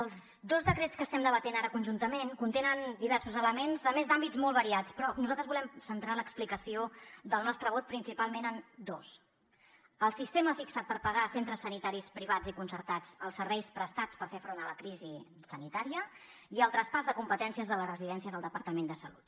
els dos decrets que estem debatent ara conjuntament contenen diversos elements a més d’àmbits molt variats però nosaltres volem centrar l’explicació del nostre vot principalment en dos el sistema fixat per pagar a centres sanitaris privats i concertats els serveis prestats per fer front a la crisi sanitària i el traspàs de competències de les residències al departament de salut